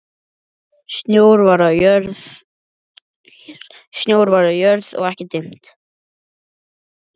Snjór var á jörð og ekki dimmt.